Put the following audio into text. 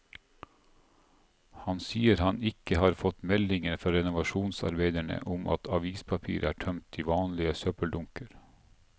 Han sier han ikke har fått meldinger fra renovasjonsarbeiderne om at avispapir er tømt i vanlige søppeldunker.